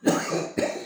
N'o ye kɛ